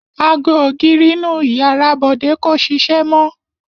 Ago ògiri inú ìyàrá Bọ̀dé kò ṣiṣẹ́ mọ́.